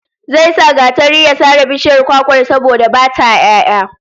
Zai sa gatari ya sare bishiyar kwakwar, saboda ba ta 'ya'ya